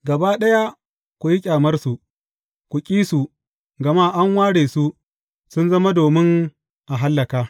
Gaba ɗaya ku yi ƙyamarsu, ku ƙi su, gama an ware su, sun zama domin a hallaka.